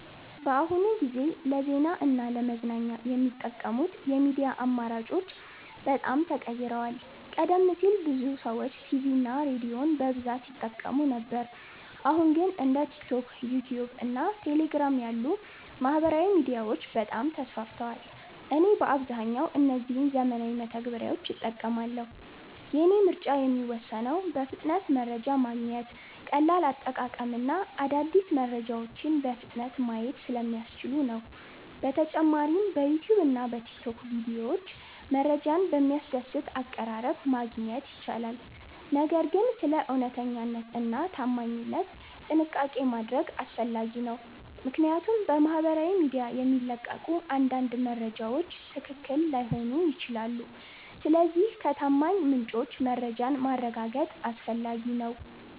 በአሁኑ ጊዜ ለዜና እና ለመዝናኛ የሚጠቀሙት የሚዲያ አማራጮች በጣም ተቀይረዋል። ቀደም ሲል ብዙ ሰዎች ቲቪ እና ሬዲዮን በብዛት ይጠቀሙ ነበር አሁን ግን እንደ ቲክቶክ፣ ዩትዩብ እና ቴሌግራም ያሉ ማህበራዊ ሚዲያዎች በጣም ተስፋፍተዋል። እኔም በአብዛኛው እነዚህን ዘመናዊ መተግበሪያዎች እጠቀማለሁ። የእኔ ምርጫ የሚወሰነው በፍጥነት መረጃ ማግኘት፣ ቀላል አጠቃቀም እና አዳዲስ መረጃዎችን በፍጥነት ማየት ስለሚያስችሉ ነው። በተጨማሪም በዩትዩብ እና በቲክቶክ ቪዲዮዎች መረጃን በሚያስደስት አቀራረብ ማግኘት ይቻላል። ነገር ግን ስለ እውነተኛነት እና ታማኝነት ጥንቃቄ ማድረግ አስፈላጊ ነው፣ ምክንያቱም በማህበራዊ ሚዲያ የሚለቀቁ አንዳንድ መረጃዎች ትክክል ላይሆኑ ይችላሉ። ስለዚህ ከታማኝ ምንጮች መረጃን ማረጋገጥ አስፈላጊ ነው።